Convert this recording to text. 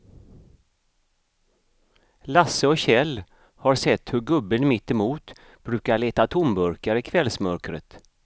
Lasse och Kjell har sett hur gubben mittemot brukar leta tomburkar i kvällsmörkret.